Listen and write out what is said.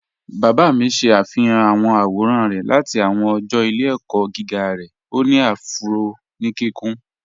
Bàbá mí ṣẹ̀ afihàn awọn awòràn rẹ̀ láti awọn ọ̀jọ́ ìlẹ̀-ẹ̀kọ̀ giga rẹ̀, o ni afúró ni kíkùn.